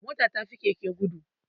Mota ta fi keke gudu